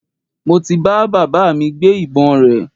Mo ti bá baba mi gbé ìbọn rẹ̀